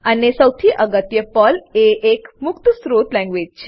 અને સૌથી અગત્ય પર્લ એક મુક્ત સ્ત્રોત લેંગવેજ છે